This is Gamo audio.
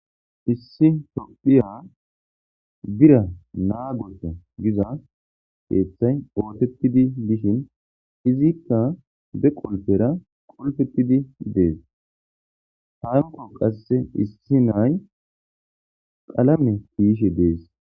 Issi tophiya bira naa gofe giza keeththay ootettidi dishin izikka be qolpera qolfettidi dees hanko qasse issi nay qalame kiishi dees.